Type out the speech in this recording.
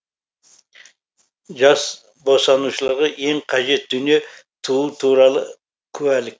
жас босанушыларға ең қажет дүние туу туралы куәлік